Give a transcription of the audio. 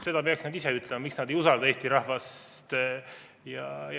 Seda peaksid nad ise ütlema, miks nad ei usalda Eesti rahvast.